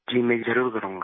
जी मैं जरुर करूँगा